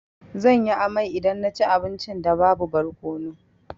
Zan yi amai idan na ci abincin da babu barkono.